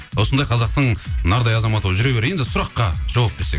осындай қазақтың нардай азаматы болып жүре бер енді сұраққа жауап берсек